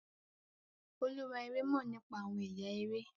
olúwa eré mọ nípa awọn ẹyà eré